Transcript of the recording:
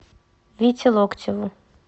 вите локтеву